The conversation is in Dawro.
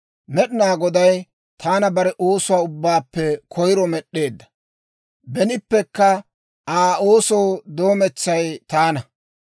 «Med'inaa Goday taana bare oosuwaa ubbaappe koyiro med'd'eedda; benippekka Aa oosoo doometsay taana.